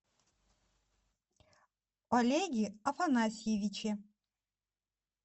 олеге афанасьевиче